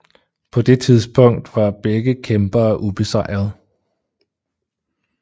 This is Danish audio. På det tidspunkt var begge kæmpere ubesejret